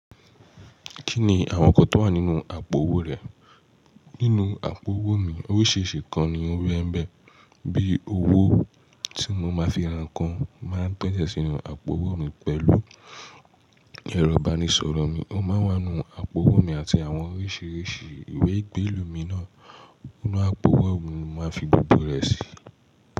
Kí ni àwọn nkan tó wà nínú àpò owó rẹ? Ninù àpọ òwò mi, oriṣiṣi nkan ni ò bẹ nibẹ bíi owó tí mo máa fi ra nǹkan, màá tọjù ẹ sí inú àpò owó mi pẹ̀lú ẹrọ ìbánisọ̀rọ̀ mi. Ó máa wà nínú àpò owó mi àti àwọn oríṣìíríṣìí ìwé ìgbélú mi náà. Inù àpò òwò mi nì mọ mààn fi gbògbò ẹ sìì.